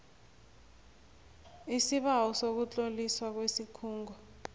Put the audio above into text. isibawo sokutloliswa kwesikhungo